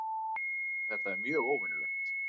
Þetta er mjög óvenjulegt